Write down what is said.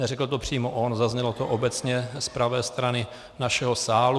Neřekl to přímo on, zaznělo to obecně z pravé strany našeho sálu.